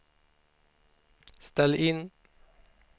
ställ in